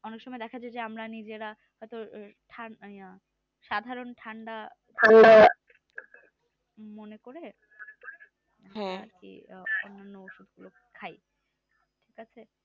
অনেক সময় যে আমরা নিজেই হয়তো সাধারণ ঠান্ডা ঠান্ডা মনে পড়ে খাই